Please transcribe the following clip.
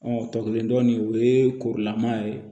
tɔkelen dɔɔnin o ye koroma ye